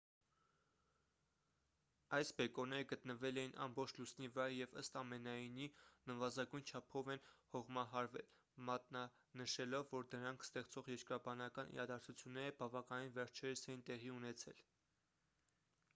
այս բեկորները գտնվել էին ամբողջ լուսնի վրա և ըստ ամենայնի նվազագույն չափով են հողմահարվել մատնանշելով որ դրանք ստեղծող երկրաբանական իրադարձությունները բավականին վերջերս էին տեղի ունեցել